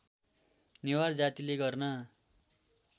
नेवार जातिले गर्न